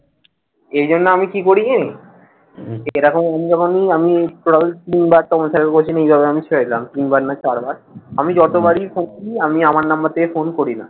এই জন্য আমি কি করি জানিস? এ রকম বন্ধু-বান্ধব আমি তিনবার তিন বার না চার বার। আমি যত বারই করছি, আমি আমার number থেকে ফোন করি না।